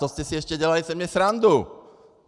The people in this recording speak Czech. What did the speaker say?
To jste si ze mě dělali ještě srandu.